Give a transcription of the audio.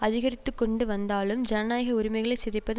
அதிகரித்து கொண்டு வந்தாலும் ஜனநாயக உரிமைகளை சிதைப்பது